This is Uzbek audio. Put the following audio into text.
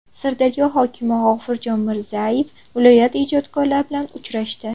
Sirdaryo hokimi G‘ofurjon Mirzayev viloyat ijodkorlari bilan uchrashdi.